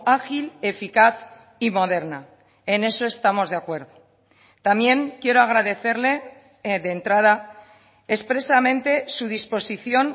ágil eficaz y moderna en eso estamos de acuerdo también quiero agradecerle de entrada expresamente su disposición